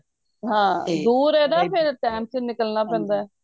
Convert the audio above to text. ਹਾਂ ਦੂਰ ਏ ਨਾ time ਸਿਰ ਨਿਕਲਣਾ ਪੈਂਦਾ